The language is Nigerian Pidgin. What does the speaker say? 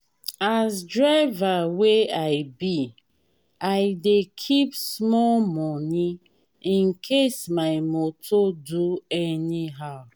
as driver wey i be i dey keep small moni incase my moto do anyhow.